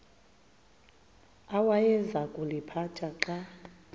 awayeza kuliphatha xa